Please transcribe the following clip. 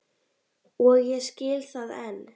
Og ég skil það enn.